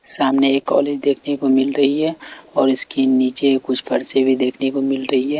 सामने एक कॉलेज देखने को मिल रही है और इसके नीचे कुछ फरसे भी देखने को मिल रही है।